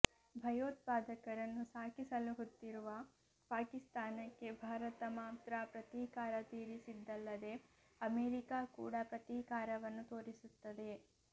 ಭಯೋತ್ಪಾದಕರನ್ನು ಸಾಕಿ ಸಲಹುತ್ತಿರುವ ಪಾಕಿಸ್ತಾನಕ್ಕೆ ಭಾರತ ಮಾತ್ರ ಪ್ರತೀಕಾರ ತೀರಿಸಿದ್ದಲ್ಲದೆ ಅಮೇರಿಕಾ ಕೂಡಾ ಪ್ರತೀಕಾರವನ್ನು ತೋರಿಸುತ್ತಿದೆ